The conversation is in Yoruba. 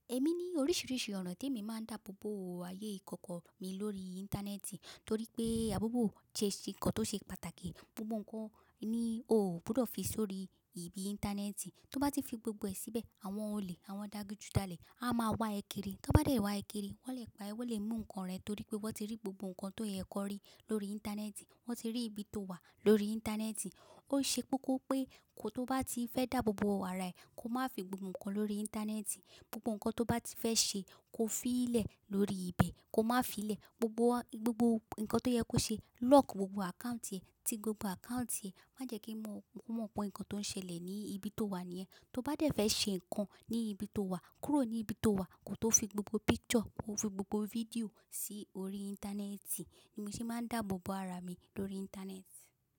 Èmi ní oríṣiríṣi ọ̀nà tí èmi máa ń dáàbò bo ayé ìkọ̀kọ̀ mi lórí Íńtánẹ́ẹ̀tì torí pé àboboo jẹ́ si nǹkan tó ṣe pàtàkì. Gbogbo ǹkan ní oo gbọdọ̀ fi sórí ibi Íńtánẹ́ẹ̀tì. Tó bá ti fi gbogbo ẹ̀ síbẹ̀, àwọn olè àwọn adigun jalè á máa wá ẹ kiri. Ti won bá dẹ̀ wá ẹ kiri, wọ́n lè pa ẹ, wọ́n lè mú ǹkan rẹ torí pé wọ́n ti rí gbogbo ǹkan tó yẹ ki wọn rí lórí Íńtánẹ́ẹ̀tì, wọ́n ti rí ibi tó wà lórí Íńtánẹ́ẹ̀tì. Ó ṣe kókó pé kó tó bá ti fẹ́ dáàbò bo ara ẹ, kó má fi gbogbo ǹkan lórí Íńtánẹ́ẹ̀tì. Gbogbo ǹkan tó bá ti fẹ́ ṣe kó fií lẹ̀ lórí ibẹ̀ kó má fi í lẹ̀. Gbogbo, gbogbo ǹkan tó yẹ kó ṣe, lock gbogbo account ẹ, ti gbogbo account ẹ. Má jẹ́ kí wọ́n, wọ́n mọ pé ǹkan tó ń ṣẹlẹ̀ ní ibi tó wà nì yẹn. Tó bá dẹ̀ fẹ́ ṣe ǹkan ní ibi tó wà, kúrò ní ibi tó wà kó tó fi gbogbo picture, kó fi gbogbo video sí orí Íńtánẹ́ẹ̀tì. Ni èmi se máa ń dáàbò bo ara mi lórí Íńtánẹ́ẹ̀tì.